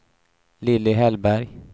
Lilly Hellberg